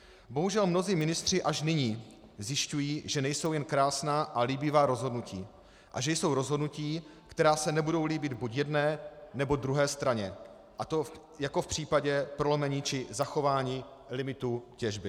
Bohužel mnozí ministři až nyní zjišťují, že nejsou jen krásná a líbivá rozhodnutí a že jsou rozhodnutí, která se nebudou líbit buď jedné, nebo druhé straně, a to jako v případě prolomení či zachování limitů těžby.